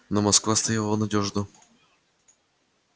но москва стояла надёжно